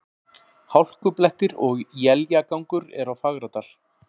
Hálkublettir og éljagangur er á Fagradal